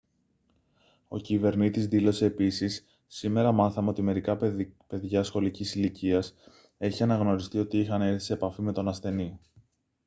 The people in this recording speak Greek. ο κυβερνήτης δήλωσε επίσης «σήμερα μάθαμε ότι μερικά παιδιά σχολικής ηλικίας έχει αναγνωριστεί ότι είχαν έρθει σε επαφή με τον ασθενή»